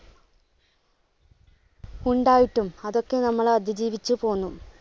ഉണ്ടായിട്ടും അതൊക്കെ നമ്മൾ അതിജീവിച്ച് പോന്നു.